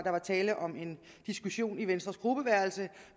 tale om en diskussion i venstres gruppeværelse